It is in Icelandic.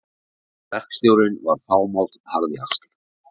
Verkstjórinn var fámáll harðjaxl.